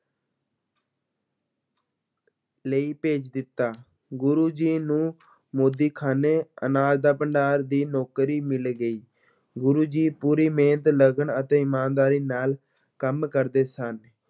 ਲਈ ਭੇਜ ਦਿੱਤਾ, ਗੁਰੂ ਜੀ ਨੂੰ ਮੋਦੀਖਾਨੇ ਅਨਾਜ ਦਾ ਭੰਡਾਰ ਦੀ ਨੌਕਰੀ ਮਿਲ ਗਈ, ਗੁਰੂ ਜੀ ਪੂਰੀ ਮਿਹਨਤ, ਲਗਨ ਅਤੇ ਈਮਾਨਦਾਰੀ ਨਾਲ ਕੰਮ ਕਰਦੇ ਸਨ।